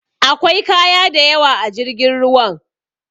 Akwai kaya dayawa a jirgin ruwan